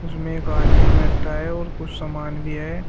इसमें एक आदमी बैठा है और कुछ सामान भी है।